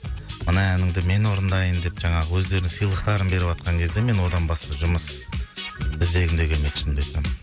мына әніңді мен орындайын деп жаңағы өздерінің сыйлықтарын беріватқан кезде мен одан басқа жұмыс іздегім де келмейді шынымды айтсам